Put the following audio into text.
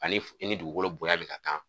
Ani i ni dugukolo bonya min ka kan.